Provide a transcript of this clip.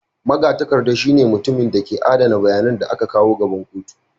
Magatakarda shine mutumin da ke adana bayanan da aka kawo gaban kotu.